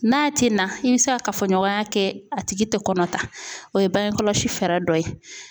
N'a tɛna i bɛ se ka kafoɲɔgɔnya kɛ a tigi tɛ kɔnɔ ta o ye bange kɔlɔsi fɛɛrɛ dɔ ye.